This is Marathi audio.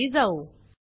चला खाली जाऊ